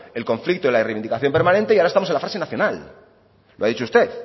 el conflicto y la reivindicación permanente y ahora estamos en la fase nacional lo ha dicho usted